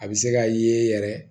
A bɛ se ka ye yɛrɛ